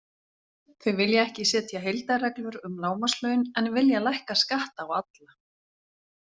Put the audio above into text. Þeir vilja ekki setja heildarreglur um lágmarkslaun en vilja lækka skatta á alla.